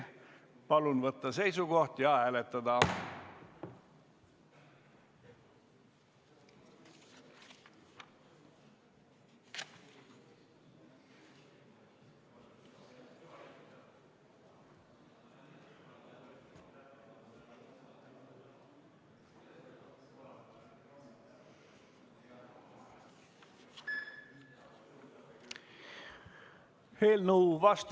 Palun võtta seisukoht ja hääletada!